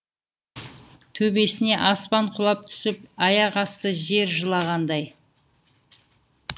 төбесіне аспан құлап түсіп аяқ асты жер жылағандай